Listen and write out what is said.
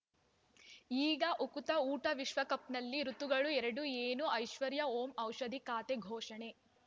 ಈಗ ಉಕುತ ಊಟ ವಿಶ್ವಕಪ್‌ನಲ್ಲಿ ಋತುಗಳು ಎರಡು ಏನು ಐಶ್ವರ್ಯಾ ಓಂ ಔಷಧಿ ಖಾತೆ ಘೋಷಣೆ